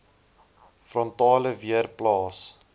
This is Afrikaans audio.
frontale weer plaas